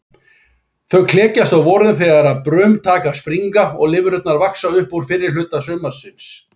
Þau klekjast á vorin þegar brum taka að springa og lirfurnar vaxa upp fyrrihluta sumarsins.